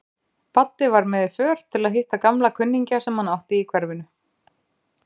Baddi var með í för til að hitta gamla kunningja sem hann átti í hverfinu.